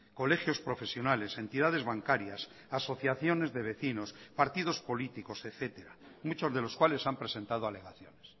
colegios profesionales entidades bancarias asociaciones de vecinos partidos políticos etcétera muchos de los cuales han presentado alegaciones